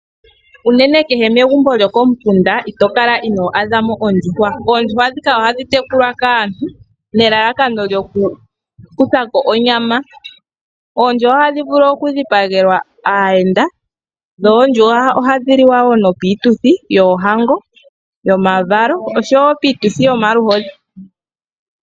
Uunene kehe megumbo lyokomukunda ito kala ino adhamo ondjuhwa. Oondjuhwa ndhika ohadhi tekulwa kaantu nelalakano kyokukuthako onyama. Ohadhi vulu okudhipagelwa aayende dho ohadhi vulu wo okudhipagwa piituthi yoohango, omavalo oshowo iituthi yomaluhodhi.